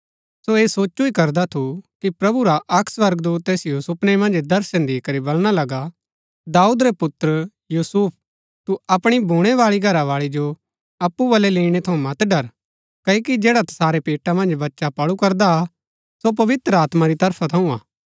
सो ऐह सोचु ही करदा थु कि प्रभु रा अक्क स्वर्गदूत तैसिओ सुपनै मन्ज दर्शन दी करी बलणा लगा दाऊद रै पुत्र यूसुफ तू अपणी भूणैबाळी घरावाळी जो अप्पु बलै लैईणै थऊँ मत डर क्ओकि जैडा तसारै पेटा मन्ज बच्‍चा पळू करदा हा सो पवित्र आत्मा री तरफा थऊँ हा